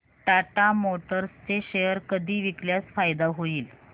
Tata Motors चे share कधी विकल्यास फायदा होईल